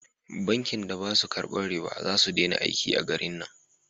Bankin da ba su karban riba za su dena aiki a garin nan